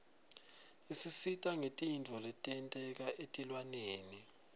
isisita ngetintfo letenteka etilwaneni